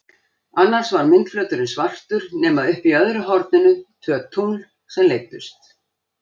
Annars var myndflöturinn svartur nema uppi í öðru horninu tvö tungl sem leiddust.